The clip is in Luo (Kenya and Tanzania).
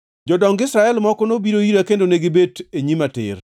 Jodong Israel moko nobiro ira kendo negibet e nyima tir.